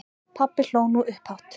Pabbi hló nú upphátt.